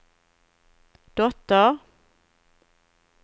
dotter